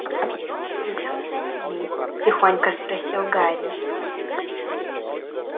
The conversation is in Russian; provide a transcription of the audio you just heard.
пойдём за ними тихонько спросил гарри